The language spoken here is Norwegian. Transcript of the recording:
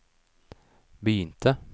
begynte